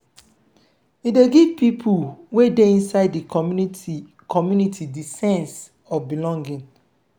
e dey give pipo wey dey inside di community community di sense of belonging